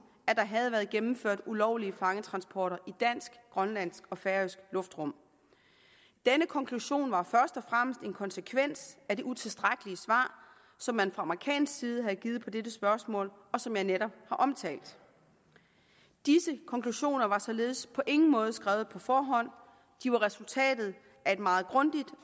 at der havde været gennemført ulovlige fangetransporter i dansk grønlandsk og færøsk luftrum denne konklusion var først og fremmest en konsekvens af det utilstrækkelige svar som man fra amerikansk side havde givet på dette spørgsmål og som jeg netop har omtalt disse konklusioner var således på ingen måde skrevet på forhånd de var resultatet af et meget grundigt